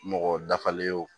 Mɔgɔ dafalen ye wo